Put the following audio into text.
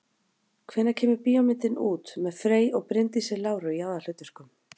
Hvenær kemur bíómyndin út með Frey og Bryndísi Láru í aðalhlutverkum?